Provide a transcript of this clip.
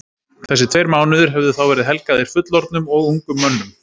Þessir tveir mánuðir hefðu þá verið helgaðir fullorðnum og ungum mönnum.